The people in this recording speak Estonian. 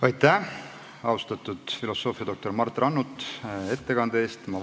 Aitäh, austatud filosoofiadoktor Mart Rannut, ettekande eest!